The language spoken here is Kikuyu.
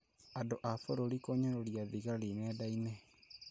Andũ a bũrũri kũnyũrũria thigari nendainĩ